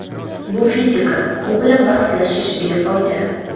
Bu fizika u bilan bahslashish befoyda.